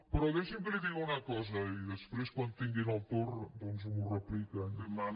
però deixi’m que li digui una cosa i després quan tinguin el torn doncs m’ho repliquen